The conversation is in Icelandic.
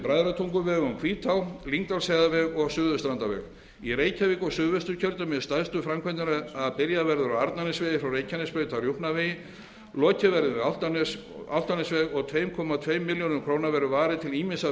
verður við bræðratunguveg um hvítá lyngdalsheiðarveg og suðurstrandarveg í reykjavík og suðvesturkjördæmi eru stærstu framkvæmdirnar að byrjað verður á arnarnesvegi frá reykjanesbraut að rjúpnavegi lokið verður við álftanesveg og tvö komma tveimur miljörðum króna verður varið til ýmissa